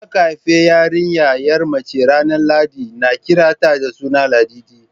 Idan aka haifi yarinyar mace ranar lahadi na kiran ta da suna Ladidi